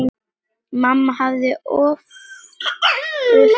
Mamma hafði ofurtrú á Árna.